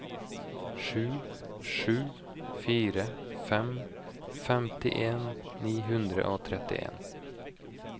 sju sju fire fem femtien ni hundre og trettien